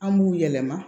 An b'u yɛlɛma